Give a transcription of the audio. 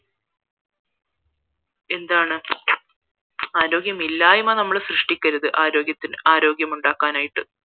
എന്താണ് ആരോഗ്യമയിലായ്മ നമ്മൾ സൃഷ്ടിക്കരുത് ആരോഗ്യത്തിന് ആരോഗ്യം ഉണ്ടാക്കാനായിട്ട്